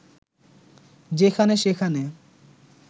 যেখানে সেখানে